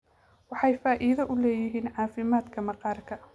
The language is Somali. Waxay faa'iido u leeyihiin caafimaadka maqaarka.